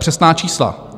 Přesná čísla.